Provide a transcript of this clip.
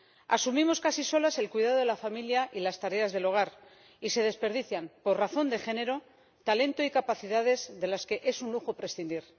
Asumimos casi solas el cuidado de la familia y las tareas del hogar, y se desperdician, por razón de género, talento y capacidades de las que es un lujo prescindir.